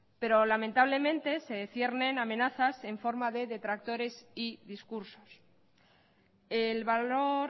pero lamentablemente se ciernen amenazas en forma de retractores y discursos el valor